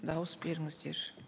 дауыс беріңіздер